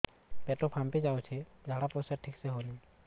ପେଟ ଫାମ୍ପି ଯାଉଛି ଝାଡ଼ା ପରିସ୍ରା ଠିକ ସେ ହଉନି